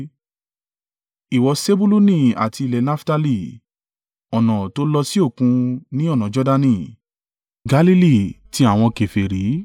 “Ìwọ Sebuluni àti ilẹ̀ Naftali ọ̀nà tó lọ sí Òkun, ní ọ̀nà Jordani, Galili ti àwọn kèfèrí.